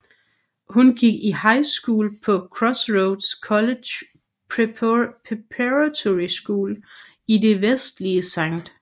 Hun gik i high school på Crossroads College Preparatory school i det vestlige St